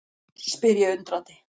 spyr ég undrandi.